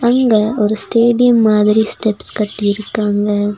இங்க ஒரு ஸ்டேடியம் மாதிரி ஸ்டெப்ஸ் கட்டிருக்காங்க.